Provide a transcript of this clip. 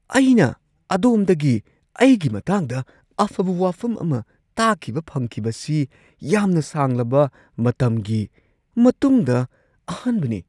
ꯑꯩꯅ ꯑꯗꯣꯝꯗꯒꯤ ꯑꯩꯒꯤ ꯃꯇꯥꯡꯗ ꯑꯐꯕ ꯋꯥꯐꯝ ꯑꯃ ꯇꯥꯈꯤꯕ ꯐꯪꯈꯤꯕꯁꯤ ꯌꯥꯝꯅ ꯁꯥꯡꯂꯕ ꯃꯇꯝꯒꯤ ꯃꯇꯨꯡꯗ ꯑꯍꯥꯟꯕꯅꯤ꯫